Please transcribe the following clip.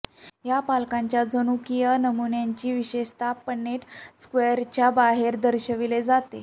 या पालकांच्या जनुकीय नमुन्यांची विशेषतः पन्नेट स्क्वेअरच्या बाहेर दर्शविली जाते